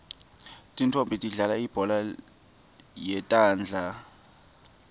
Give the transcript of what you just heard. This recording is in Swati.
tintfonmbi tidlalal ibhola yetandla